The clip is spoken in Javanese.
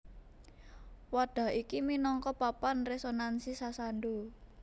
Wadhah iki minangka papan resonansi sasando